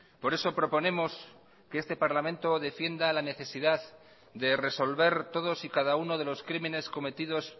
por eso proponemos que este parlamento defienda la necesidad de resolver todos y cada uno de los crímenes cometidos